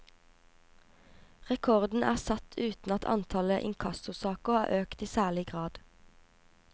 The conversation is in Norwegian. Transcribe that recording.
Rekorden er satt uten at antallet inkassosaker har økt i særlig grad.